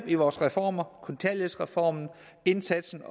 i vores reformer kontanthjælpsreformen og indsatsen